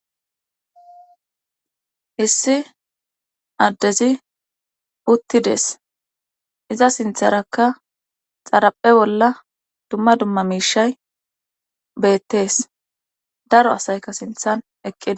issi addezi uttides iza sintharakka xaraphe bolla dumma dumma miishay beettees daro asaykka sinthan eqqides